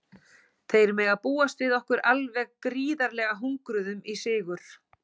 Þeir mega búast við okkur alveg gríðarlega hungruðum í sigur.